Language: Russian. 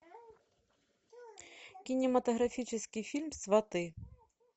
кинематографический фильм сваты